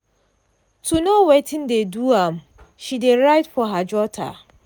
to know wetin dey do am she dey write for her jotter.